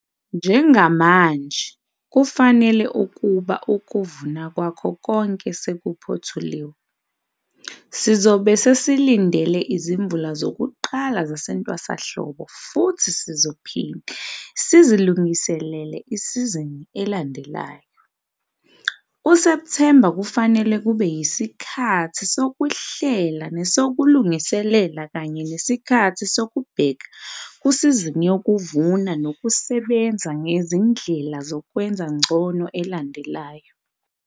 Njengamanje kufanele ukuba ukuvuna kwakho konke sekuphothuliwe. Sizobe sesilindele izimvula zokuqala zasentwasahlobo futhi sizophinda sizilungiselele isizini elandelayo. USepthemba kufanele kube yisikhathi sokuhlela nesokulungiselela kanye nesikhathi sokubheka kusizini yokuvuna nokusebenza ngezindlela zokwenza ngcono elandelayo.